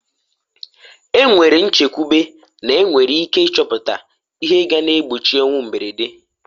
E nwere nchekwube n'enwere ike ịchọpụta ihe ga na-egbochi ọnwụ mberede.